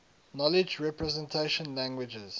knowledge representation languages